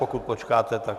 Pokud počkáte, tak...